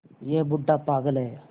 यह बूढ़ा पागल है